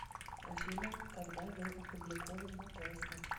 афина когда был опубликован матроска